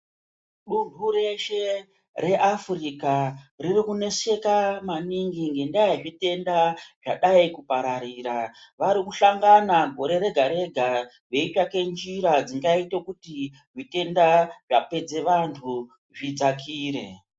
Dunhu reshe reAfrica ririkuneseka maningi ngendaa yezvitenda zvadai kupararira. Varikuhlangana gore rega-rega veitsvake njira dzingaite kuti zvitenda zvapedze vantu zvitenda zvidzakire.